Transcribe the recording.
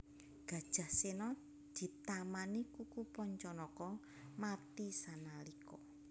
Gajah Sena ditamani kuku Pancanaka mati sanalika